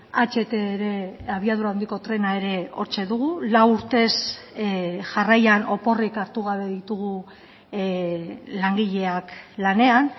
aht ere abiadura handiko trena ere hortxe dugu lau urtez jarraian oporrik hartu gabe ditugu langileak lanean